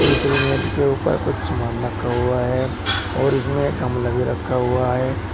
दूसरी मेज के ऊपर कुछ सामान रखा हुआ है और इसमें एक गमला भी रखा हुआ है।